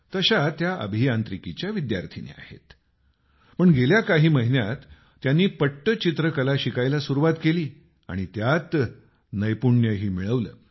तशा त्या अभियांत्रिकीच्या विद्यार्थ्यांनी आहेत पण गेल्या काही महिन्यात त्यांनी पट्टचित्र कला शिकायला सुरुवात केली आणि त्यात नैपुण्यही मिळवलं